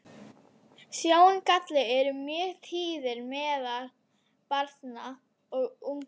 Sjóngallar eru mjög tíðir meðal barna og unglinga.